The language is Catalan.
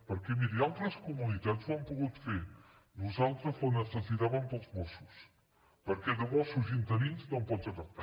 perquè miri altres comunitats ho han pogut fer nosaltres la necessitàvem per als mossos perquè de mossos interins no en pots agafar